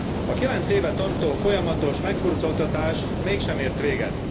A kilenc éve tartó folyamatos meghurcoltatás mégsem ért véget.